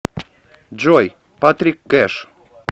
джой патрик кэш